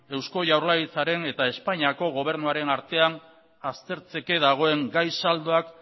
eusko jaurlaritzaren eta espainiako gobernuaren artean aztertzeke dagoen gai saldoak